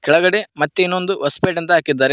ಕೆಳಗಡೆ ಮತ್ತೆ ಇನ್ನೊಂದು ಹೊಸಪೆಟ್ ಅಂತಾ ಹಾಕಿದ್ದಾರೆ.